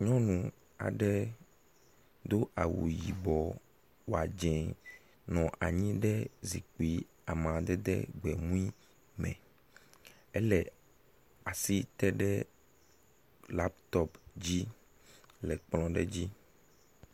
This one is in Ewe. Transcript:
Nyɔnu aɖe dó awu yibɔ wɔdzɛ̃ nɔ anyi ɖe zikpi amadede gbemui me ele asi teɖe laptop dzi le kplɔɖe dzi